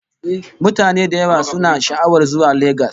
Mutane da yawa suna sha'awar zuwa Legas